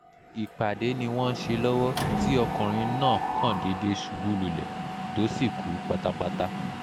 ìpàdé ni wọ́n ń ṣe lọ́wọ́ tí ọkùnrin náà kàn déédé ṣubú lulẹ̀ tó sì kú pátápátá